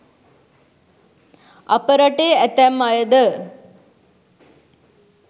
අප රටේ ඇතැම් අය ද